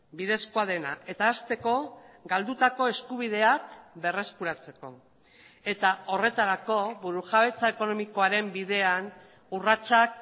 bidezkoa dena eta hasteko galdutako eskubideak berreskuratzeko eta horretarako burujabetza ekonomikoaren bidean urratsak